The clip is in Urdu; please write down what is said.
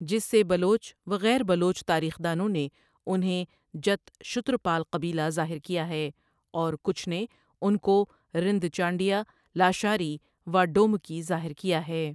جس سے بلوچ و غیر بلوچ تاریخ دانوں نے انہیں جت شترپال قبیلہ ظاہر کیا ہے اور کچھ نے انکو رند، چانڈیہ، لاشاری و ڈومکی ظاہر کیا ہے ۔